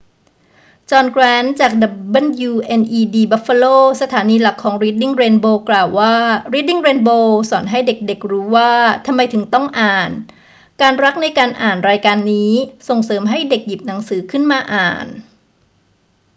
จอห์น แกรนต์ จาก wned buffalo สถานีหลักของรีดดิ้งเรนโบว์ กล่าวว่า รีดดิ้งเรนโบว์สอนให้เด็ก ๆ รู้ว่าทำไมถึงต้องอ่าน ... การรักในการอ่าน [รายการนี้] ส่งเสริมให้เด็กหยิบหนังสือขึ้นมาอ่าน